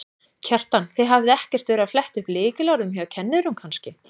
Kjartan: Þið hafið ekkert verið að fletta upp lykilorðum hjá kennurum kannski?